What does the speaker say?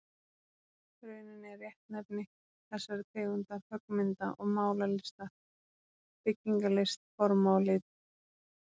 rauninni er réttnefni þessarar tegundar höggmynda- og málaralistar byggingalist forma og lita.